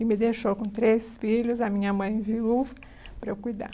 E me deixou com três filhos, a minha mãe viu, para eu cuidar.